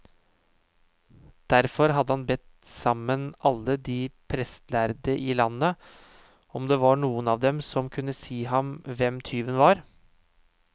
Derfor hadde han bedt sammen alle de prestlærde i landet, om det var noen av dem som kunne si ham hvem tyven var.